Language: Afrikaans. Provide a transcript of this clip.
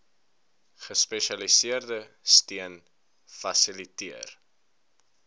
gespesialiseerde steun fasiliteer